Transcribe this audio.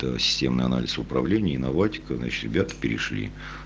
то системный анализ управление и инноватика значит ребята перешли